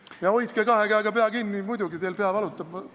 Ja hoidke kahe käega peast kinni muidugi, teil pea valutab, ma saan aru.